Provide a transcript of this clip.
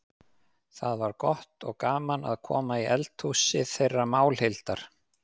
Það var gott og gaman að koma í eldhúsið þeirra Málhildar.